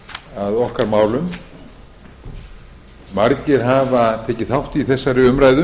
að okkar málum margir hafa tekið þátt í þessari umræðu